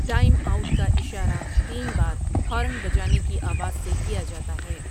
Time out کا اشارہ تین بار ہارن بجانے کی آواز سے کیا جاتا ہے۔